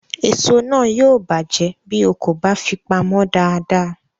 Èso náà yóò bàjẹ́ bí o kò bá fi pamọ́ dáadáa